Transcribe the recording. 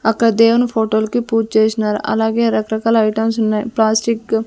అక్కడ దేవుని ఫోటోలు కి పూజ చేసినారు అలాగే రకరకాల ఐటమ్స్ ఉన్నాయి ప్లాస్టిక్ .